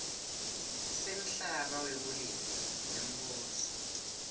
semhlaba wekulima wembuso